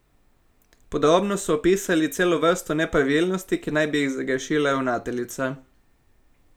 Podrobno so opisali celo vrsto nepravilnosti, ki naj bi jih zagrešila ravnateljica.